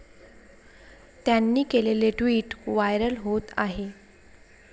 त्यांनी केलेलेे tweet viral होत आहे.